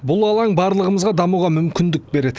бұл алаң барлығымызға дамуға мүмкіндік береді